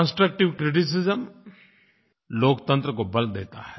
constructive criticism लोकतंत्र को बल देता है